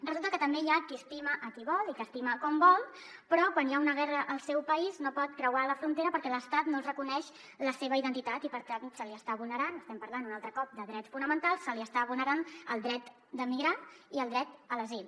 resulta que també hi ha qui estima qui vol i que estima com vol però quan hi ha una guerra al seu país no pot creuar la frontera perquè l’estat no li reconeix la seva identitat i per tant se li està vulnerant estem parlant un altre cop de drets fonamentals el dret de migrar i el dret a l’asil